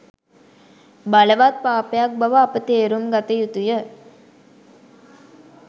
බලවත් පාපයක් බව අප තේරුම් ගත යුතුය